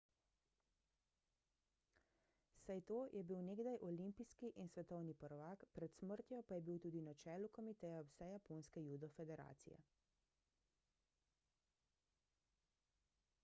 saito je bil nekdaj olimpijski in svetovni prvak pred smrtjo pa je bil tudi na čelu komiteja vsejaponske judo federacije